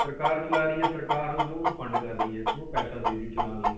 ਸਰਕਾਰ ਚਲਾ ਰਹੀ ਹੈ ਸਰਕਾਰ ਜੋ ਉਹਨੂੰ fund ਕਰ ਰਹੀ ਹੈ, ਉਹਨੂੰ ਪੈਸਾ ਦੇ ਰਹੀ ਹੈ ਚਲਾਉਣ ਲਈ